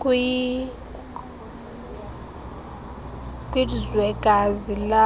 kwizwekazi lase